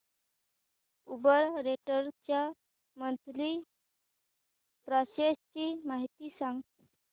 Uber rental च्या monthly passes ची माहिती सांग